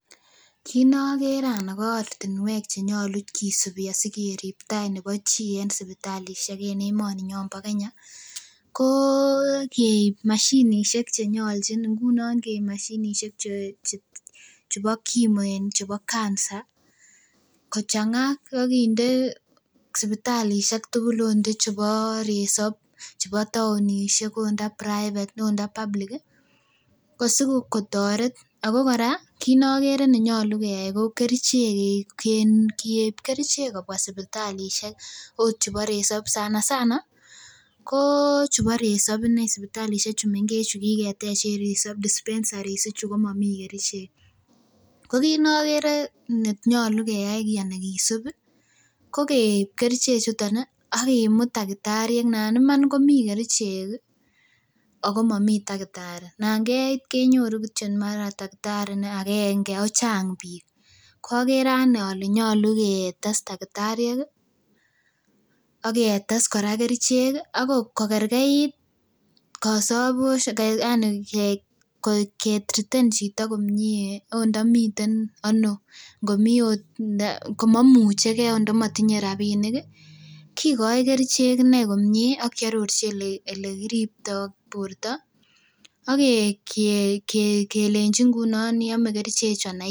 Kit nokere ana ko ortinwek chenyolu kisibi asikerip tai nebo chi en sipitalisiek en emoninyon nibo Kenya ko keib mashinisiek chenyoljin ngunon keib mashinisiek chebo kimo en chebo cancer kochang'a ak kinde sipitalisiek tugul ot ndo chebo resop, chebo taonisiek ot ndo private ot ndo public ih ko sikotoret ako kora kit nokere nenyolu keyai ko kerichek keib kerichek kobwa sipitalisiek ot chebo resop sana sana ko chubo resop inei sipitalisiek chu mengech chu kiketech en resop dispensaries ichu komomii kerichek ko kit nokere nenyolu keyai kisib ih ko keib kerichek chuton ih ak kimut takitariek nan iman komii kerichek ih ako momii takitari nan keit kenyoru kityo mara takitari agenge ako chang biik okere anee ole nyolu ketes takitariek ih aketes kora kerichek ih kokerkeit kosobosiek yani ke triten chito komie ot ndo miten ano ngomii ot komomuchegee ot ndo motinye rapinik ih kikoi kerichek inei komie ak kiarorchi elekiriptoo borto ak kelenji iome kerichek chu ana